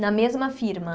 Na mesma firma?